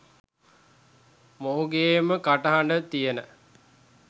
මොහුගේම කටහඬ තියන